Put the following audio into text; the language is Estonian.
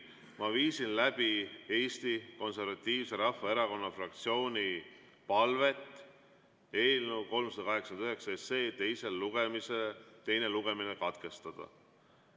Ma viisin läbi Eesti Konservatiivse Rahvaerakonna fraktsiooni palvet eelnõu 389 teine lugemine katkestada.